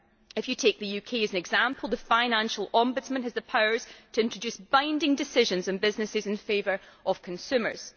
If you take the UK as an example, the Financial Ombudsman has the power to introduce binding decisions on businesses in favour of consumers.